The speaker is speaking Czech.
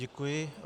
Děkuji.